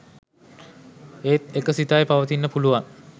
එත් එක සිතයි පවතින්න පුළුවන්